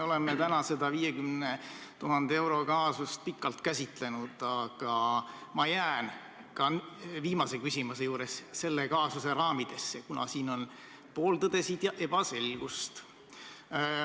Me oleme täna seda 50 000 euro kaasust pikalt käsitlenud, aga ma jään ka viimase küsimuse juures selle kaasuse raamidesse, kuna siin on pooltõdesid ja ebaselgust.